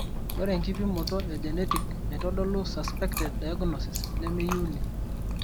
Ore enkipimoto e genetic naitodolu suspected diagnosis, nemeyiuni.